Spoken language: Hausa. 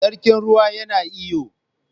Sarkin ruwa yana iyo.